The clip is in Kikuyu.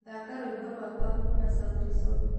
Thaka rwĩmbo rwakwa kũma sauti sol